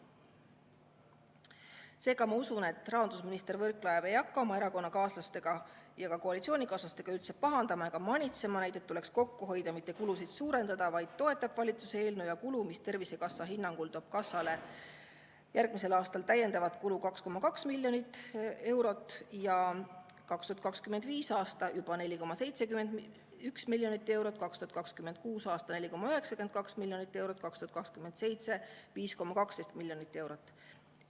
" Seega ma usun, et rahandusminister Võrklaev ei hakka oma erakonnakaaslastega ja ka koalitsioonikaaslastega pahandama ja neid manitsema, et tuleks kokku hoida ja mitte kulusid suurendada, vaid ta toetab valitsuse eelnõu, mis Tervisekassa hinnangul toob kassale järgmisel aastal täiendavat kulu 2,2 miljonit eurot, 2025. aastal juba 4,71 miljonit eurot, 2026. aastal 4,92 miljonit eurot ja 2027. aastal 5,12 miljonit eurot.